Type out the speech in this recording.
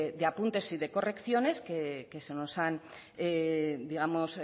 de apuntes y de correcciones que se nos han